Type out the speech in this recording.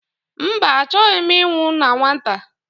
Mba, achọghị m ịnwụ na nwata